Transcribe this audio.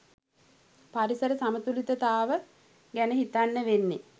පරිසර සමතුලිතතාව ගැන හිතන්න වෙන්නෙ.